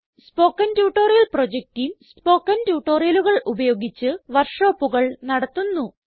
spoken tutorial project team spoken ട്യൂട്ടോറിയലുകൾ ഉപയോഗിച്ച് വർക്ക് ഷോപ്പുകൾ നടത്തുന്നു